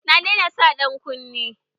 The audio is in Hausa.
Na daina sa ƴan kunne.